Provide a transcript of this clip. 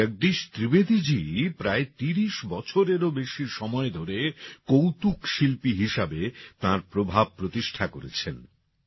ভাই জগদীশ ত্রিবেদীজী প্রায় ৩০ বছরেরও বেশি সময় ধরে কৌতুক শিল্পী হিসাবে তাঁর প্রভাব প্রতিষ্ঠা করেছেন